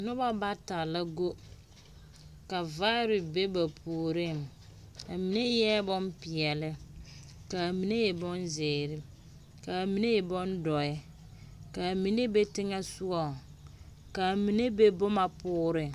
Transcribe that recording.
Noba bata la go, ka vaare be ba puoriŋ, a mine eԑԑ bompeԑle, ka a mine e bonzeere, ka a mine e bondͻԑ, ka a mine be teŋԑ sogͻŋ ka a mine be boma pooreŋ.